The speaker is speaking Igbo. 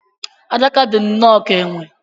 Adaka dị nnọọ ka enwe.